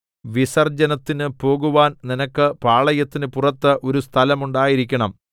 വിസർജ്ജനത്തിനു പോകുവാൻ നിനക്ക് പാളയത്തിനു പുറത്ത് ഒരു സ്ഥലം ഉണ്ടായിരിക്കണം